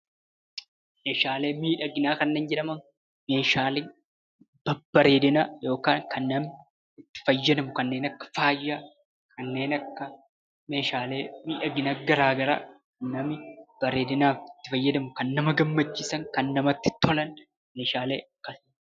Meeshaalee miidhaginaa kan jedhaman meeshaalee babbareedinaa yookaan kan nama fayyadu kanneen akka faaya, kanneen akka meeshaalee miidhagina gara garaa bareedinaaf itti fayyadamnu kan nama gammachiisan, kan namatti tola meeshaalee kana.